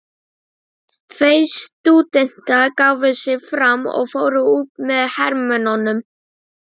Tveir stúdentar gáfu sig fram og fóru út með hermönnunum.